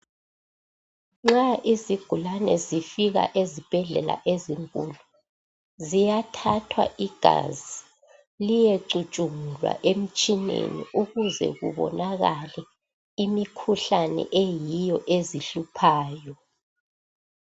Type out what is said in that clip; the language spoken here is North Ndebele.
Nxa izigulane zifika ezibhedlela ezinkulu ziyathathwa igazi liyecutsungulwa emtshineni ukuze kubonakale imikhuhlane eyiyo ezihluphayo.